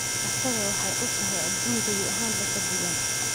isaga waxay u tahay adduun gebi ahaanba ka duwan.